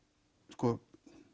sko